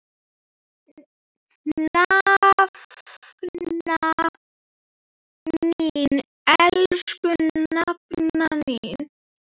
Nafna mín, elsku nafna mín.